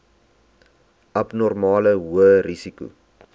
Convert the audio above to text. abnormale hoë risiko